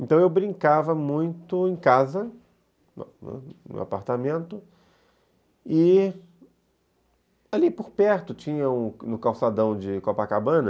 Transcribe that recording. Então eu brincava muito em casa, no no apartamento, e ali por perto tinha, no calçadão de Copacabana,